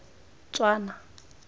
tswana